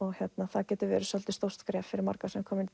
það getur verið svolítið stórt skref fyrir marga sem koma inn